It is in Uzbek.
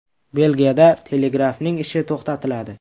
Belgiyada telegrafning ishi to‘xtatiladi.